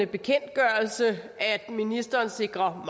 bekendtgørelse at ministeren sikrer